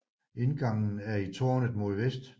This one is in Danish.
Indgangen er i tårnet mod vest